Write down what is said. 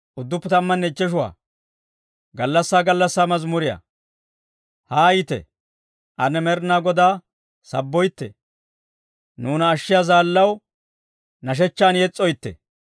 Haayite; ane Med'inaa Godaa sabboytte. Nuuna ashshiyaa zaallaw nashshechchaw yes's'oytte.